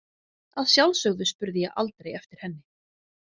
Að sjálfsögðu spurði ég aldrei eftir henni.